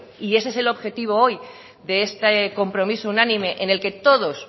y ese es el objetivo hoy de este compromiso unánime en el que todos